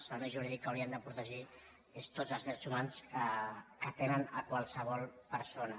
els serveis jurídics haurien de protegir tots els drets humans que té qualsevol persona